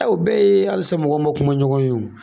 o bɛɛ ye halisa mɔgɔw man kuma ɲɔgɔn ye o.